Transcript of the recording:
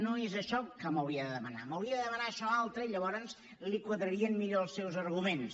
no és això el que m’hauria de demanar m’hauria de demanar això altre i llavors li quadrarien millor els seus arguments